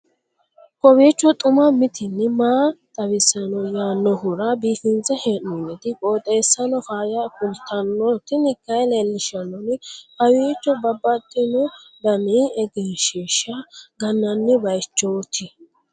kowiicho xuma mtini maa xawissanno yaannohura biifinse haa'noonniti qooxeessano faayya kultanno tini kayi leellishshannori kawiicho babbaxino dani egenshshiisha gannanni baychooti